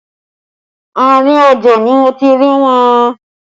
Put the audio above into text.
Àárín ọjà ni mo ti rí wọn